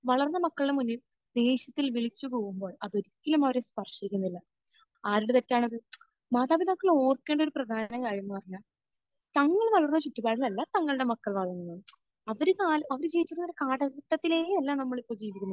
വളർന്ന മക്കളുടെ മുന്നിൽ ദേഷ്യത്തിൽ വിളിച്ച് കൂവുമ്പോൾ അത് ഒരിക്കലും അവരെ സ്പർശിക്കുന്നില്ല. ആരുടെ തെറ്റാണത്? മാതാപിതാക്കൾ ഓർക്കേണ്ട ഒരു പ്രധാന കാര്യം എന്ന് പറഞ്ഞാൽ തങ്ങൾ വളർന്ന ചുറ്റുപാടിലല്ല തങ്ങളുടെ മക്കൾ വളരുന്നത്. അവർ ക...അവർ ജീവിക്കുന്ന കാലഘട്ടത്തിലേ അല്ല നമ്മൾ ഇപ്പോൾ ജീവിക്കുന്നത്.